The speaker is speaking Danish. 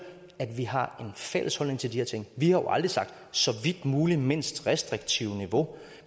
at vi har en fælles holdning til de her ting vi har jo aldrig sagt så vidt muligt mindst restriktive niveau